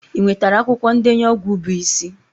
Ị nwetara akwụkwọ ndenye ọgwụ bụ isi?